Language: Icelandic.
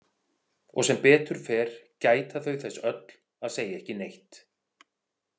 Og sem betur fer gæta þau þess öll að segja ekki neitt.